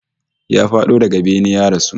Ya fado daga bene ya rasu